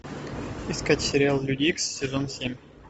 искать сериал люди икс сезон семь